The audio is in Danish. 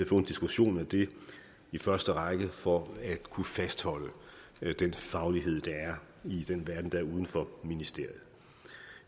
få en diskussion af det i første række for at kunne fastholde den faglighed der er i den verden der er uden for ministeriet